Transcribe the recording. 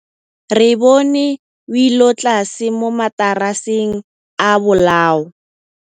Re bone wêlôtlasê mo mataraseng a bolaô.